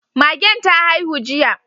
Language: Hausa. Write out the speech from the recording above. Magen ta haihu jiya